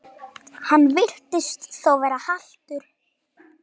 Hann virtist þó vera haltur.